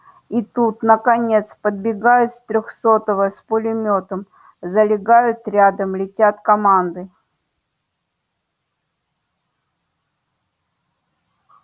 и тут наконец подбегают с трёхсотого с пулемётом залегают рядом летят команды